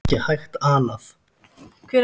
Það er ekki hægt anað.